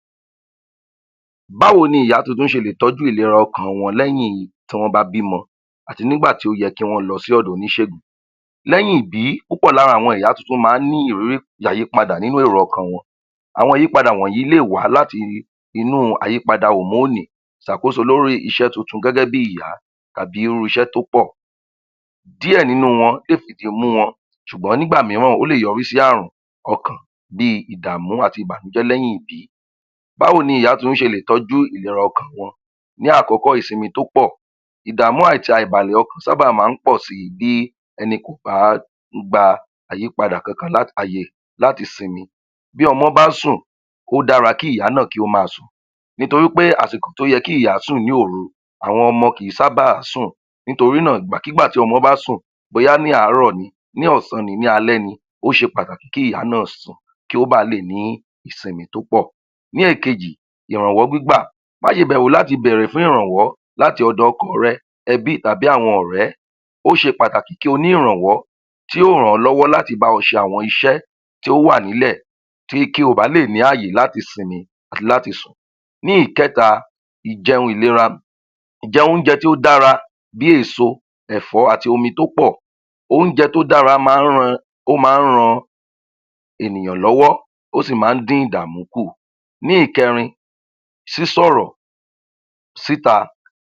20. Báwo ni ìyá tuntun ṣe lè tọ́jú ìlera ọkàn wọn lẹ́yìn tí wọ́n bá bímọ àti nígbà tí ó yẹ kí wọ́n lọ sí ọ̀dọ̀ oníṣègùn, lẹ́yìn ìbí púpọ̀ lára àwọn ìyá tuntun máa ń ní ìrírí ayípadà nínú èrò ọkàn wọn. Àwọn àyípadà wọ̀nyí lè wá láti inú ayípadà òmóònì ṣàkóso lórí iṣẹ́ tuntun gẹ́gẹ́ bíi ìyá tàbí irú iṣẹ́ tó pọ̀. Díẹ̀ nínú wọn epidi mú wọn ṣùgbọ́n nígbà mìíràn ó lè yọrí sí ààrùn ọkàn bíi ìdààmú àti ìbànújẹ́ lẹ́yìn ìbí. Báwo ni ìyá tuntun ṣe lè tọ́jú ìlera ọkàn wọn, ní àkọ́kọ́, ìsinmi tó pọ̀, ìdààmú àti àìbalẹ̀ ọkàn sábà máa ń pọ̀ síi bí ẹni kò bá um gba àyípadà kankan láti um ààyè láti sinmi bí ọmọ bá sùn, ó dára kí ìyá náà kí ó máa sùn nítorí wí pé àsìkò tó yẹ kí ìyá sùn ní òru àwọn ọmọ kì í sábàá sùn nítorí náà ìgbàkigbà tí ọmọ bá sùn bóyá ní àárọ̀ ni, ní ọ̀sán ni, ní alẹ́ ni, ó ṣe pàtàkì kí ìyá náà sùn kí ó ba lè ní ìsinmi tó pọ̀. Ní èkejì, ìrànwọ́ gbígbà, má ṣe bẹ̀rù láti béèrè fún ìrànwọ́ láti ọ̀dọ̀ ọkọọ̀ rẹ, ẹbí tàbí àwọn ọ̀rẹ́, ó ṣe pàtàkì kí o ní ìrànwọ́, tí ó ràn-án lọ́wọ́ láti bá ẹ ṣe àwọn iṣẹ́ tí ó wà nílẹ̀ tí kí o ba lè ráyè láti sinmi àti láti sùn. Ní ìkẹta, ìjẹun ìlera, ìjẹ oúnjẹ tó dára bíi èèso, ẹ̀fọ́, àti omi tó pọ̀.oúnjẹ tó dára máa ń um ran ènìyàn lọ́wọ́, ó sì máa ń dín ìdààmú kùn. Ní ìkẹrin, sísọ̀rọ̀ síta,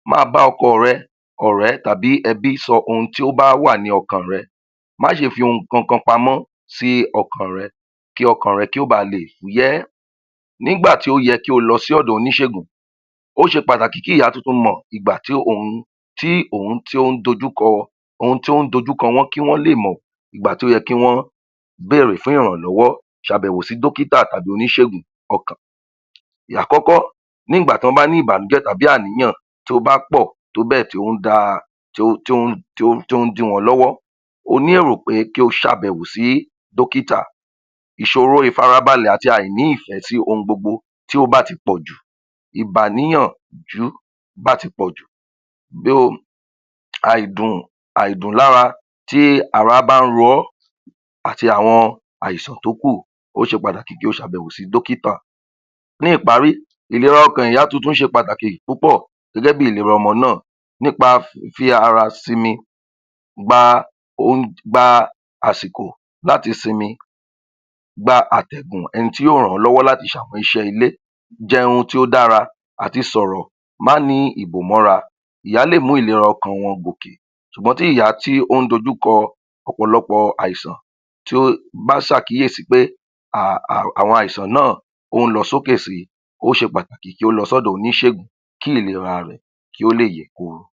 máa bá ọkọ rẹ ọ̀rẹ́ tàbí ẹbi sọ ohun tí ó bá wà ní ọkàn rẹ, má ṣe fi nǹkan kan pamọ́ sí ọkàn rẹ, kí ọkàn rẹ kó ba leè fúyẹ́. Nígbà tí ó yẹ kí o lọ sí ọ̀dọ̀ oníṣẹ̀gùn, ó ṣe pàtàkì kí ìyá tuntun mọ̀ ìgbà tí òun tí òun ń dójú kọ wọ́n kí wọ́n lè mọ ìgbà tó yẹ kí wọ́n bèèrè fún ìrànlọ́wọ́. Ṣàyẹ̀wò sí dókítà tàbí oníṣègùn ọkàn. Àkọ́kọ́ nígbà tí wọ́n bá ní ìbànújẹ́ tàbí àníyàn tó bá pọ̀ tóbẹ́ẹ̀ tó ń da um tó ń dí wọn lọ́wọ́. O ní èrò wí pé kí o ṣàbẹ̀wò sí dọ́kítà. Ìṣòro ìfarabalẹ̀ àti àìní ìfẹ́ sí ohun gbogbo tí ó bá ti pọ̀jù, ìgbàníyànjú bá ti pọ̀jù. um àìdùn lára tí ará bá ń ro ẹ́ àti àwọn àìsàn tókùn, ó ṣe pàtàkì kí o ṣàbẹ̀wò sí dókítà. Ní ìparí, ìlera ọkàn ìyá tuntun ṣe pàtàkì púpọ̀ gẹ́gẹ́ bí ìlera ọmọ náà nípa um fífi ara sinmi gba um gba àsìkò láti sinmi, gba àtẹ̀gùn ẹni tí yóò ràn-án lọ́wọ́ láti ṣ'àwọn iṣẹ́ ilé, jẹun tí ó dára àti sọ̀rọ̀, má nìí ìbòmọ́ra, ìyẹn á lè mú ìlera ara wọn gòkè ṣùgbọ́n tí ìyá tó ń dojú kọ ọ̀pọ̀lọpọ̀ àìsàn tí o bá ṣ'àkíyèsí wí pé um àwọn àìsàn náà ń lọ sókè síi, ó ṣe pàtàkì kí ó lọ sọ́dọ̀ oníṣègùn kí ìlera rẹ̀ kí ó lè yè kooro s